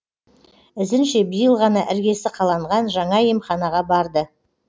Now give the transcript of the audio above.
ізінше биыл ғана іргесі қаланған жаңа емханаға барды